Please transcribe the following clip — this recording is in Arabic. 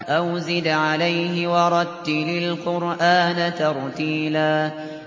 أَوْ زِدْ عَلَيْهِ وَرَتِّلِ الْقُرْآنَ تَرْتِيلًا